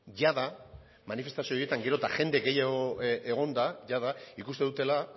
jada manifestazio horietan geroz eta jende gehiago egon da jada ikusten dutela